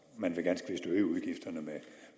man vil ganske vist øge udgifterne med